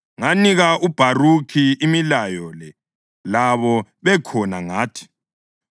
Nganika uBharukhi imilayo le labo bekhona ngathi: